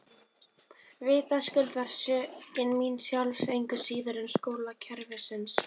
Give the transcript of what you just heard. Vitaskuld var sökin mín sjálfs engu síður en skólakerfisins.